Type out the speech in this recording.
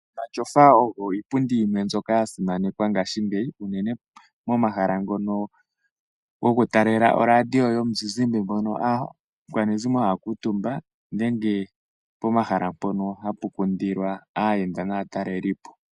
Omashofa ogo iipundi yimwe mbyoka ya simanekwa ngashingeyi unene po mahala ngono go ku talela oradio yomuzizimba ngono aakwanezimo ha ya kuutumba, nenge pomahala mpoka hapu kundilwa aayenda naatalelipo.